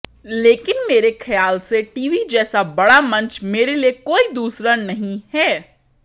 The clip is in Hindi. लेकिन मेरे ख्याल से टीवी जैसा बड़ा मंच मेरे लिए कोई दूसरा नहीं है